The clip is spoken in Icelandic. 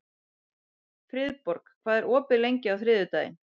Friðborg, hvað er opið lengi á þriðjudaginn?